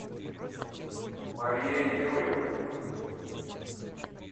марией юрьевной